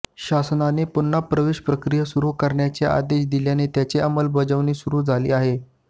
शासनाने पुन्हा प्रवेश प्रक्रिया सुरू करण्याचे आदेश दिल्याने त्याची अंमलबजावणी सुरू झाली आहे